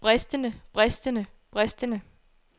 bristende bristende bristende